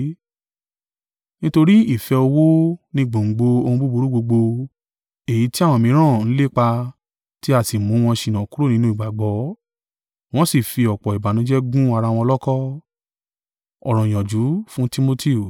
Nítorí ìfẹ́ owó ni gbòǹgbò ohun búburú gbogbo; èyí tí àwọn mìíràn ń lépa tí a sì mú wọn ṣìnà kúrò nínú ìgbàgbọ́, wọ́n sì fi ọ̀pọ̀ ìbànújẹ́ gún ara wọn lọ́kọ̀.